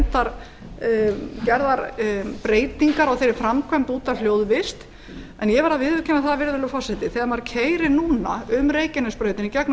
þó gerðar breytingar á þeirri framkvæmd út af hljóðvist en ég verð að viðurkenna það virðulegi forseti þegar maður keyrir núna um reykjanesbrautina í gegnum